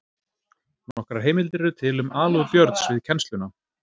Nokkrar heimildir eru til um alúð Björns við kennsluna.